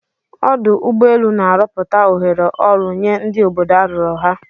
Ọdụ ụgbọ elu na-arọpụta ohere ọrụ nye ndi obodo arụrụ ha.